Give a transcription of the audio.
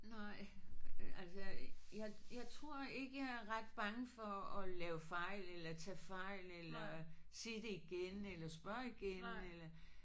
Nej altså jeg jeg tror ikke jeg er ret bange for at lave fejl eller tage fejl eller sig det igen eller spørge igen øh